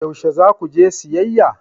Yaushe za ku je siyayya?